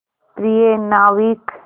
प्रिय नाविक